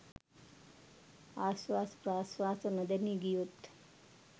ආශ්වාස ප්‍රශ්වාස නොදැනී ගියොත්